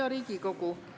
Hea Riigikogu!